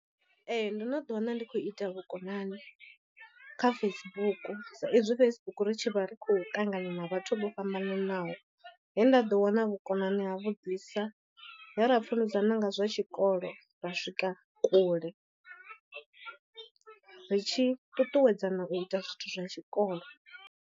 Ee ndo no ḓi wana ndi khou ita vhukonani kha Facebook sa izwi Facebook ri tshi vha ri khou ṱangana na vhathu vho fhambananaho, he nda ḓo wana vhukonani ha vhuḓisa he ra funḓedzana nga zwa tshikolo ra swika kule, ri tshi ṱuṱuwedzana u ita zwithu zwa tshikolo.